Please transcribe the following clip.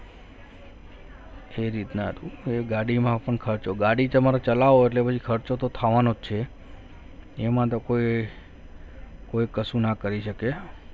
એ રીતના હતું એ ગાડીમાં પણ ખર્ચો ગાડી તમારો ચલાવો એટલે પછી ખર્ચો તો થવાનો જ છે એમાં તો કોઈ કશું ના કરી શકે